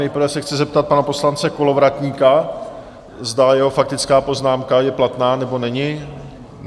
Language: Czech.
Nejprve se chci zeptat pana poslance Kolovratníka, zda jeho faktická poznámka je platná, nebo není?